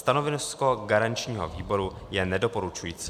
Stanovisko garančního výboru je nedoporučující.